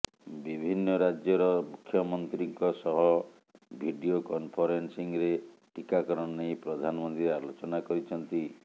ବିଭିନ୍ନ ରାଜ୍ୟର ମୁଖ୍ୟମନ୍ତ୍ରୀଙ୍କ ସହ ଭିଡିଓ କନଫରେନସିଂରେ ଟିକାକରଣ ନେଇ ପ୍ରଧାନମନ୍ତ୍ରୀ ଆଲୋଚନା କରିଛନ୍ତି